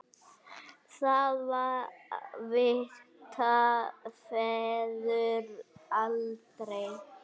Það vita feður aldrei.